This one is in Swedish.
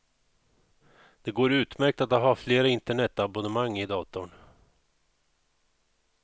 Det går utmärkt att ha flera internetabonnemang i datorn.